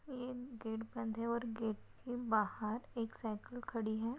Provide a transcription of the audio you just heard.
ये गेट बंद है और गेट के बाहर एक साइकल खड़ी है।